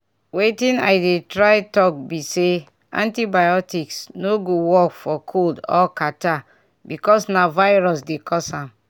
wetin i dey try talk be say antibiotics no go work for cold or catarrh because na virus dey cause am